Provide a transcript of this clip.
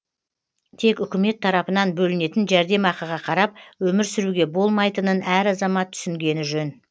тек үкімет тарапынан бөлінетін жәрдемақыға қарап өмір сүруге болмайтынын әр азамат түсінгені жөн